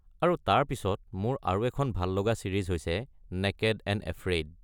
আৰু তাৰ পিছত মোৰ আৰু এখন ভাল লগা ছিৰিজ হৈছে নেকেড এণ্ড এফ্ৰেইড।